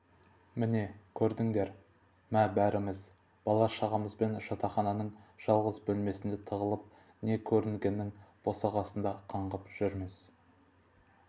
міне көрдіңдер ме бәріміз бала-шағамызбен жатақхананың жалғыз бөлмесінде тығылып не көрінгеннің босағасында қаңғып жүрміз